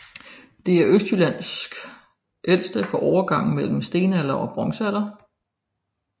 Det er Østjyllands ældste fra overgangen mellem stenalder og bronzealder